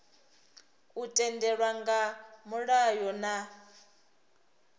u tendelwa nga mulayo na